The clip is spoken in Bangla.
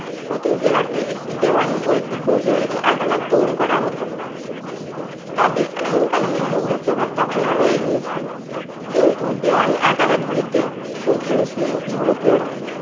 প্রতি জেলাতেই একটি দেওয়ানি ও একটি ফৌজদারি আদালত তৈরি করা হতো। তবে আইন কানুনে মুঘল প্রভাব তখনও রয়ে গিয়েছিলো। কিন্তু দেওয়ানি আদালত গুলিতে প্রধান ছিলেন ইউরোপীয়রাই।